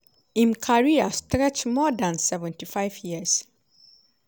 im career stretch more dan 75 years.